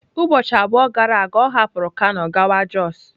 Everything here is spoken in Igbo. Ụbọchị abụọ gara aga ọ hapụrụ kano gawa jos.